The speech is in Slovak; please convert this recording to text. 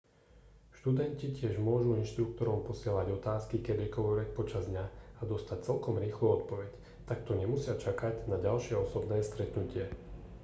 študenti tiež môžu inštruktorom posielať otázky kedykoľvek počas dňa a dostať celkom rýchlu odpoveď takto nemusia čakať na ďalšie osobné stretnutie